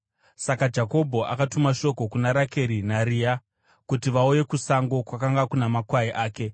Saka Jakobho akatuma shoko kuna Rakeri naRea kuti vauye kusango kwakanga kuna makwai ake.